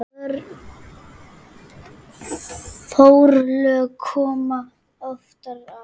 Forlög koma ofan að